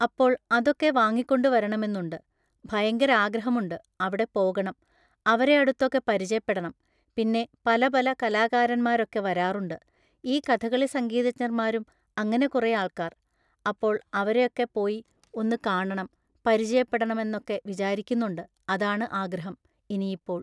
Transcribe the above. അപ്പോൾ അതൊക്കെ വാങ്ങിക്കൊണ്ട് വരണമെന്നുണ്ട്. ഭയങ്കരാഗ്രഹമുണ്ട്. അവിടെ പോകണം. അവരെയടുത്തൊക്കെ പരിചയപ്പെടണം. പിന്നെ പല പല കലാകാരന്മാരൊക്കെ വരാറുണ്ട്. ഈ കഥകളി സംഗീതജ്ഞർമാരും അങ്ങനെ കുറേ ആൾക്കാര്‍. അപ്പോൾ അവരെയൊക്കെ പോയി ഒന്ന് കാണണം പരിചയപ്പെടണമെന്നൊക്കെ വിചാരിക്കുന്നുണ്ട്. അതാണ് ആഗ്രഹം ഇനിയിപ്പോൾ.